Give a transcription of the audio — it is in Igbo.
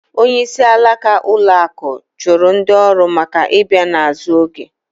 Onyeisi alaka ụlọ akụ chụrụ ndị ọrụ maka ị bịa n’azụ oge